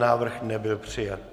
Návrh nebyl přijat.